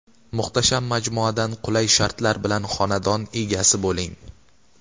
Muhtasham majmuadan qulay shartlar bilan xonadon egasi bo‘ling.